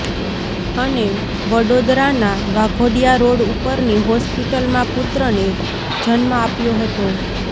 અને વડોદરાના વાઘોડિયા રોડ ઉપરની હોસ્પિટલમાં પુત્રને જન્મ આપ્યો હતો